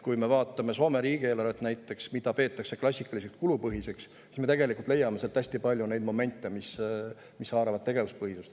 Kui me vaatame näiteks Soome riigieelarvet, mida peetakse klassikaliseks, kulupõhiseks, siis me leiame sealt tegelikult hästi palju neid momente, mis haaravad tegevuspõhisuse.